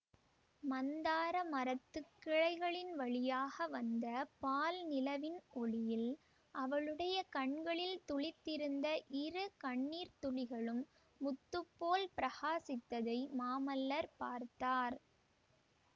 மந்தார மரத்துக் கிளைகளின் வழியாக வந்த பால் நிலவின் ஒளியில் அவளுடைய கண்களில் துளித்திருந்த இரு கண்ணீர் துளிகளும் முத்துப்போல் பிரகாசித்ததை மாமல்லர் பார்த்தார்